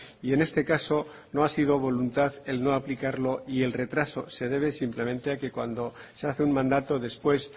y en este caso no ha sido voluntad el no aplicarlo y el retraso se debe simplemente a que cuando se hace un mandato después